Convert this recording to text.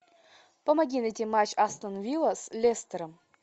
помоги найти матч астон вилла с лестером